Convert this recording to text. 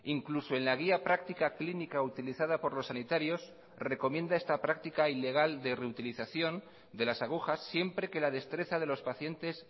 incluso en la guía práctica clínica utilizada por los sanitarios recomienda esta práctica ilegal de reutilización de las agujas siempre que la destreza de los pacientes